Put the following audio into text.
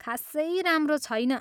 खासै राम्रो छैन।